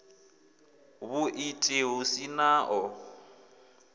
vhuiiti hu si na o